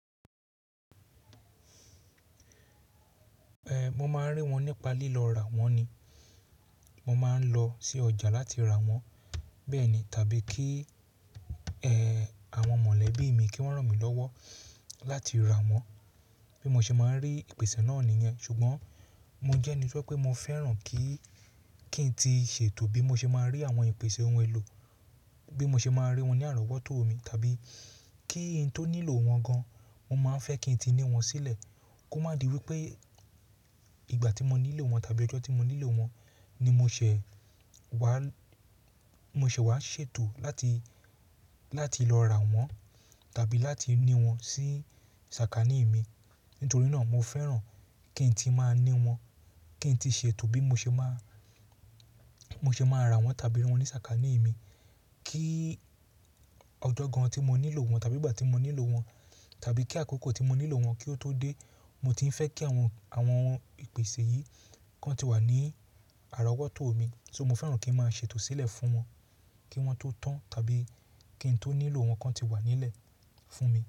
Ehn, mo máa ń rí wọn nípa lílọ ra wọ́n ni. Mo máa ń lọ sí ọjà láti ra wọ́n bẹ́ẹ̀ni, tàbí kí, ehn, àwọn mọ̀lẹ́bí mi kí wọ́n ràn mí lọ́wọ́ láti rà wọ́n, bí mo ṣe máa ń rí ìpèsè náà nìyẹn. Ṣùgbọ́n mo jẹ́ ẹni tó je pé mo fẹ́ràn kí, kí n ti ṣe ètò bí mo ṣe máa rí àwọn ìpèsè ohun èlò, bí mo ṣe máa rí wọn ní àrọwọ́ tó mi tàbí kí n tó nílò wọn gan, mo máa ń fẹ́ kí n ti ní wọn sílẹ̀. Kó má di wí pé ìgbà tí mo nílò wọn tàbí ọjọ́ tí mo nílò wọn ni mo ṣẹ̀ wá, mo ṣẹ̀ wá ṣètò láti, láti lọ rà wọ́n tàbí láti ní wọn sí sàkání mi. Nítorí náà mo fẹ́ràn kí n ti máa ní wọn, kí n ti ṣe ètò bí mo ṣe máa, mo ṣe máa rà wọ́n tàbí ri wọn ní sàkání mi. Kí ọjọ́ gan tí mo nílò wọn tàbí ìgbà tí mo nílò wọn, tàbí kí àkókò tí mo nílò wọn kí ó tó dé, mo ti ń fẹ́ kí àwọn, àwọn ìpèsè yìí kó ti wà ní àrọwọ́ tó mi. So mo fẹ́ràn kí n máa ṣètò sílẹ̀ fún wọn, kí wọ́n tó tán tàbí kí n tó nílò wọn kan ti wà nílẹ̀ fún mi.